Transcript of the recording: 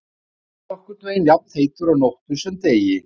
Sjórinn er nokkurn veginn jafnheitur á nóttu sem degi.